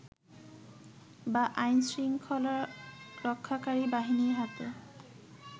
বা আইন শৃংখলারক্ষাকারী বাহিনীর হাতে